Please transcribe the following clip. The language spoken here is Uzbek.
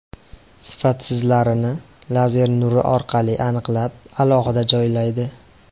Sifatsizlarini lazer nuri orqali aniqlab, alohida joylaydi.